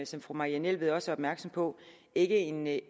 som fru marianne jelved også er opmærksom på ikke med